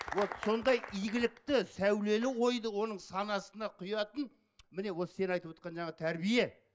вот сондай игілікті сәулелі ойды оның санасына құятын міне осы сен айтывотқан жаңағы тәрбие